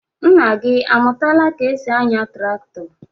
Nna gị amụtala ka e si anya traktọ?